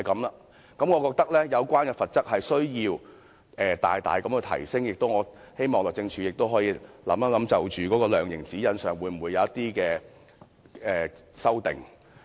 因此，我認為需要大幅提升有關罰則，亦希望律政司可以考慮在量刑指引上作出修訂。